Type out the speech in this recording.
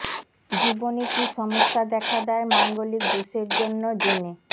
জীবনে কী সমস্যা দেখা দেয় মাঙ্গলিক দোষের জন্য জেনে